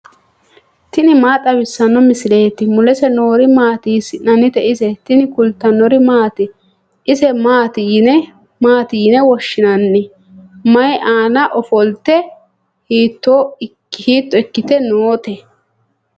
tini maa xawissanno misileeti ? mulese noori maati ? hiissinannite ise ? tini kultannori maati? ise maati yinne woshinanni? mayi aanna offolitte, hiitto ikkitte nootte?